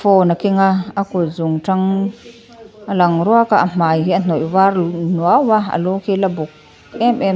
phone a kenga a kut zungtang a lang ruaka a hmai hi a hnawih var lung nuaua alu khi ala buk em em.